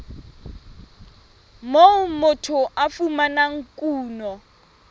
moo motho a fumanang kuno